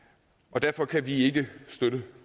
derfor kan vi ikke støtte